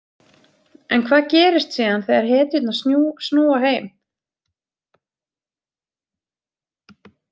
En hvað gerist síðan þegar hetjurnar snúa heim?